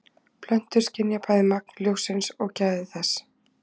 plöntur skynja bæði magn ljóssins og gæði þess